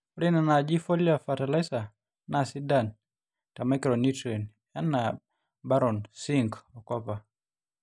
ore nena naaji foliar fertiliser naa sidan te micronutrients enaa baron, zinc o copper